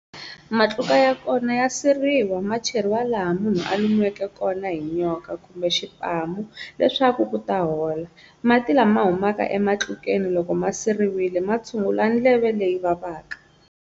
Matluka ya kona ya siriwa, ma cheriwa laha munhu a lumiweke kona hi nyoka kumbe xipamu leswaku ku ta hola. Mati lama humaka ematlukeni loko ma siriwile, ma tshungula ndleve leyi vavaka.